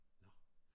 Nåh!